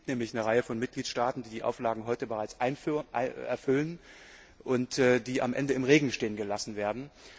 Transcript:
Es gibt nämlich eine Reihe von Mitgliedstaaten, die die Auflagen heute bereits erfüllen, und die am Ende im Regen stehen gelassen werden.